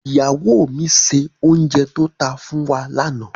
Ìyáwó mi se òùnjẹ tó ta fún wa lànà.